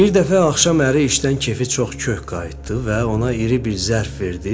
Bir dəfə axşam əri işdən keyfi çox kök qayıtdı və ona iri bir zərf verdi.